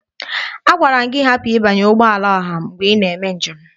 Agwara m gị hapụ ịbanye n'ụgbọala ọha mgbe ị na-eme njem!